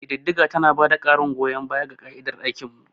Ƙididdiga tana ba da ƙarin goyon baya ga ƙa'idar mu.